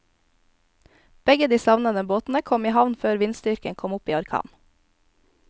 Begge de savnede båtene kom i havn før vindstyrken kom opp i orkan.